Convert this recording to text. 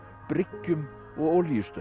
bryggjum og